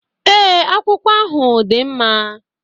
Ee, akwụkwọ ahụ dị mma